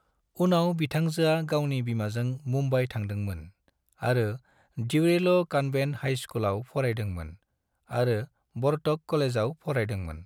उनाव बिथांजोआ गावनि बिमाजों मुम्बाइ थांदोंमोन आरो ड्यूरेलो कन्वेंट हाइ स्कुलाव फरायदोंमोन आरो वर्तक कलेजाव फरायदोंमोन।